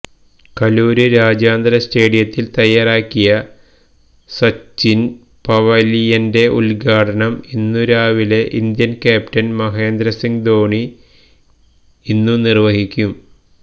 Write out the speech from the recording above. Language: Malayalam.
കലൂര് രാജ്യാന്തര സ്റ്റേഡിയത്തില് തയ്യാറാക്കിയ സച്ചിന് പവലിയന്റെ ഉദ്ഘാടനം ഇന്നു രാവിലെ ഇന്ത്യന് ക്യാപ്റ്റന് മഹേന്ദ്രസിംഗ് ധോണി ഇന്നു നിര്വ്വഹിക്കും